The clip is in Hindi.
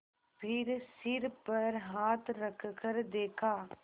फिर सिर पर हाथ रखकर देखा